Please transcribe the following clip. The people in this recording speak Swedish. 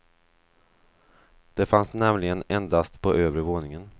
Det fanns nämligen endast på övre våningen.